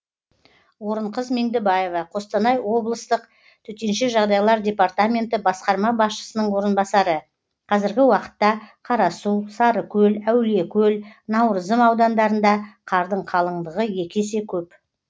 орынқыз меңдібаева қостанай облыстық төтенше жағыдайлар департменті басқарма басшысының орынбасары қазіргі уақытта қарасу сарыкөл әулиекөл наурызым аудандарында қардың қалыңдығы екі есе көп